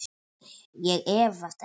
Ég efast ekki.